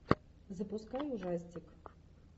запускай ужастик